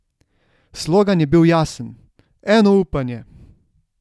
Slogan je bil jasen: 'Eno upanje.